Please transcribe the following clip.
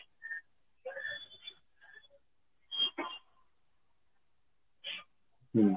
ହୁଁ